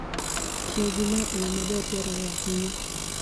Tiyo gi lowo e yo maber dwarore ahinya.